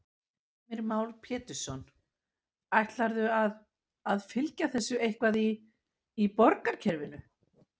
Heimir Már Pétursson: Ætlarðu að, að fylgja þessu eitthvað í, í borgarkerfinu?